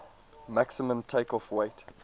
maximum takeoff weight